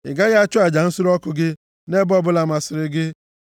Ị gaghị achụ aja nsure ọkụ gị nʼebe ọbụla masịrị gị,